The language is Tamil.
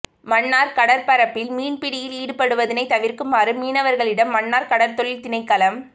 மன்னார் கடற்பரப்பில் மீன்பிடியில் ஈடுபடுவதனை தவிர்க்குமாறு மீனவர்களிடம் மன்னார் கடற்தொழில் திணைக்களம